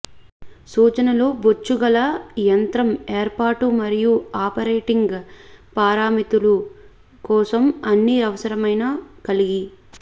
సూచనలను బొచ్చుగల యంత్రం ఏర్పాటు మరియు ఆపరేటింగ్ పారామితులు కోసం అన్ని అవసరమైన కలిగి